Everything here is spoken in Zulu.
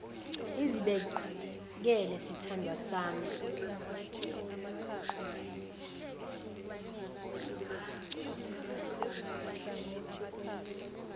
izibekele sithandwa sami